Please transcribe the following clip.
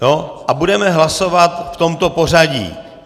A budeme hlasovat v tomto pořadí.